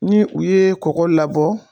Ni u ye kɔgɔ labɔ